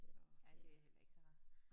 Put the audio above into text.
Ja det heller ikke så rart